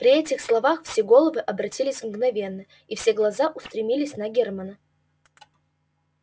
при этих словах все головы обратились мгновенно и все глаза устремились на германна